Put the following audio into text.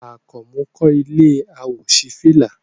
Àkànmú kọ́ ilé àwòṣífìlà